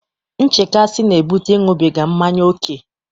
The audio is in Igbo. Nchekasị na-ebute Ịṅụbiga mmanya ókè.